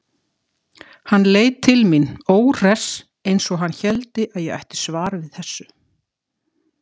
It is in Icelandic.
Hann leit til mín, óhress, eins og hann héldi að ég ætti svar við þessu.